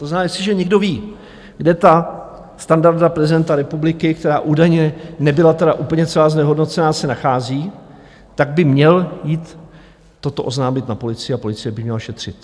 To znamená, jestliže někdo ví, kde ta standarta prezidenta republiky, která údajně nebyla tedy úplně celá znehodnocena, se nachází, tak by měl jít toto oznámit na policii a policie by měla šetřit.